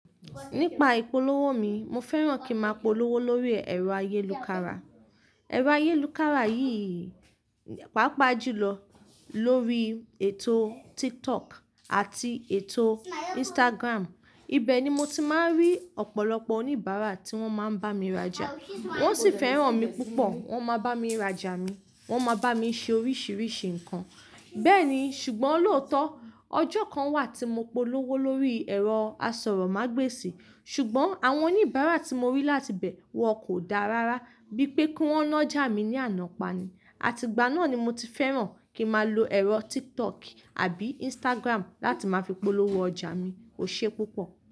Nípa ìpolówó mi, mo fẹ́ràn kí n máa polówó lórí ẹ̀rọ ayélukára. Ẹ̀rọ ayélukára yìí, pàápàá jùlọ lórí ètò TikTok àti ètò Instagram. Ibe ni mo ti máa ń rí ọ̀pọ̀lọpọ̀ oníbàárà tí wọ́n máa ń bá mi rajà. Wọn sì fẹ́ràn mi púpọ̀, wọ́n máa bá mi rajà mi, wọ́n máa bá mi ṣe oríṣìíríṣìí ǹkan. Bẹ́ẹ̀ni, ṣùgbọ́n lóòótọ́, ọjọ́ kan wà tí mo polówó lórí ẹ̀rọ asọ̀rọ̀mágbèsì, ṣùgbọ́n àwọn oníbàárà tí mo rí láti bẹ́ẹ̀, wọn kò dára rára bíi pé kí wọ́n na ọjà mi ní àná pani. Àti ìgbà náà ni mo ti fẹ́ràn kí máa lo ẹ̀rọ TikTok àbí Instagram láti máa fi polówó ọjà mi. Ó ṣe é púpọ̀